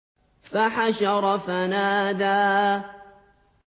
فَحَشَرَ فَنَادَىٰ